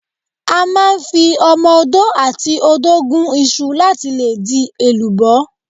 A máa ń fi ọmọ odó àti odó gún iṣu láti lè di èlùbọ́.